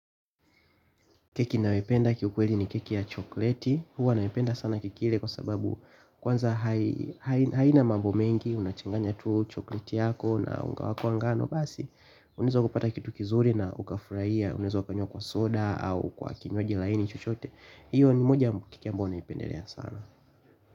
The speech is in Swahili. Keki ninayopenda kiukweli ni keki ya chokoleti. Huwa naipenda sana kuila kwa sababu kwanza haina mambo mengi. Unachanganya tu chokoleti yako na unga wako wa ngano basi. Unaweza kupata kitu kizuri na ukafurahia. Unaweza ukanywa kwa soda au kwa kinywaji laini chochote. Hiyo ni moja ya keki ambazo naipendelea sana.